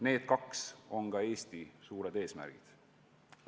Need kaks on ka Eesti suured eesmärgid.